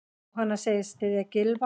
Jóhanna segist styðja Gylfa.